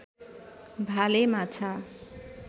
भाले माछा